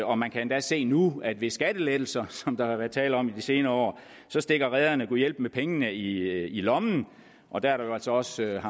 og man kan endda se nu at ved de skattelettelser som der har været tale om i de senere år stikker rederne gudhjælpemig pengene i lommen og der er jo altså også